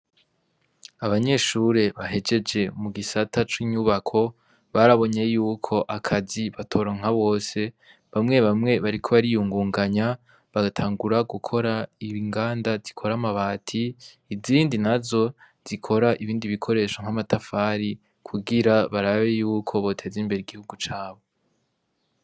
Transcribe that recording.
Abanyeshure bahejeje mu gisata c'inyubako barabonye yuko akazi batoronka bose bamwe bamwe bariko bariyungunganya bagatangura gukora inganda zikora amabati izindi nazo zikora ibikoresho n'amatafari kugira barabe yuko boteza imbere igihugu cabo.